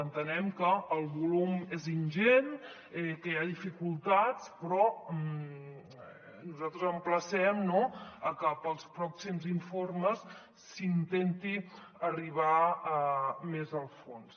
entenem que el volum és ingent que hi ha dificultats però nosaltres emplacem no a que per als pròxims informes s’intenti arribar més al fons